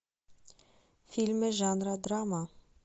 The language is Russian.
фильмы жанра драма